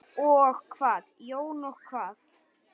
Og hvað Jón, og hvað?